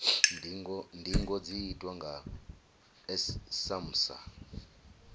ndingo dzi itwa nga samsa